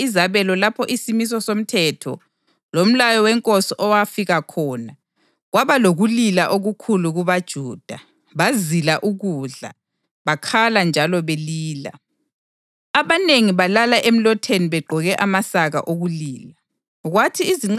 Kuzozonke izabelo lapho isimiso somthetho lomlayo wenkosi okwafika khona, kwaba lokulila okukhulu kubaJuda, bazila ukudla, bakhala njalo belila. Abanengi balala emlotheni begqoke amasaka okulila.